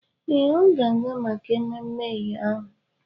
Ee, ọ ga-aga maka ememme eyo ahụ.